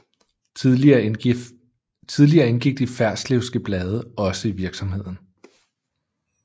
Tidligere indgik de Ferslewske Blade også i virksomheden